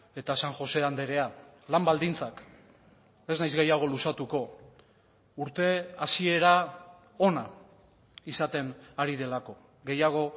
eta san josé andrea lan baldintzak ez naiz gehiago luzatuko urte hasiera ona izaten ari delako gehiago